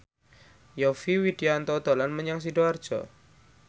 Yovie Widianto dolan menyang Sidoarjo